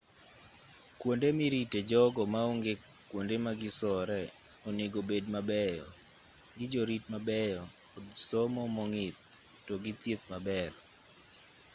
kuonde mirite jogo maonge kuonde magisore onego bed mabeyo gijorit mabeyo kod somo mong'ith togi thieth maber